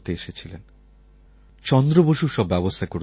ওঁর ভ্রাতুষ্পুত্র চন্দ্র বসু সব ব্যবস্থা করেছিলেন